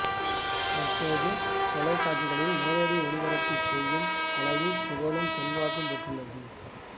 தற்போது தொலைகாட்சிகளில் நேரடி ஒளிபரப்பு செய்யும் அளவு புகழும் செல்வாக்கும் பெற்றுள்ளது